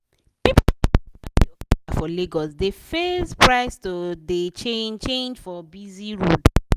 people wey dey ride okada for lagos dey face price to dey change change for busy road.